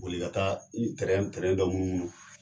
Boli ka taa n dɔ munumunu.